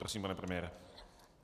Prosím, pane premiére.